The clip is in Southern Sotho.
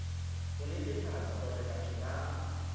ho netefatsa hore batho ba